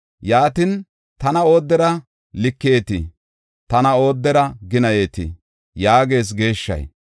Yaatin, tana oodera likeyetii? Tana oodera ginayetii? yaagees geeshshay.